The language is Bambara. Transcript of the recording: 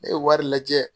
Ne ye wari lajɛ